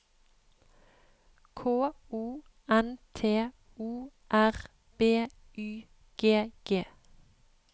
K O N T O R B Y G G